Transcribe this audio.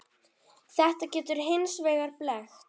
Þetta getur hins vegar blekkt.